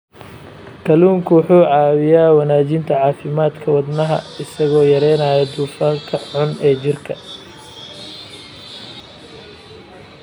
Kalluunku wuxuu caawiyaa wanaajinta caafimaadka wadnaha isagoo yareynaya dufanka xun ee jirka.